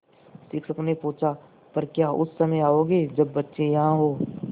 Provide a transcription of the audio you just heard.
शिक्षक ने पूछा पर क्या उस समय आओगे जब बच्चे यहाँ हों